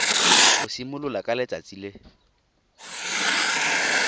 go simolola ka letsatsi le